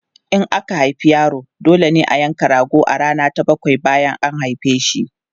In aka haifi yaro, dole ne a yanka rago a rana ta bakwai bayan an haife shi.